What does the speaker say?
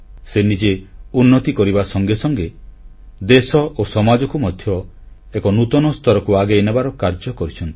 ସେ ନିଜେ ଉନ୍ନତି କରିବା ସଙ୍ଗେ ସଙ୍ଗେ ଦେଶ ଓ ସମାଜକୁ ମଧ୍ୟ ଏକ ନୂତନ ସ୍ତରକୁ ଆଗେଇନେବାର କାର୍ଯ୍ୟ କରିଛନ୍ତି